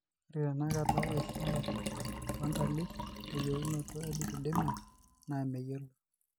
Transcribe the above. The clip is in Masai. Ore tenakata esiai oontalip teyaunoto elipedema naa meyiolo.